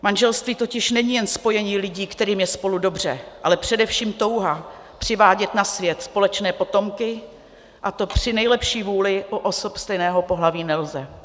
Manželství totiž není jen spojení lidí, kterým je spolu dobře, ale především touha přivádět na svět společné potomky, a to při nejlepší vůli u osob stejného pohlaví nelze.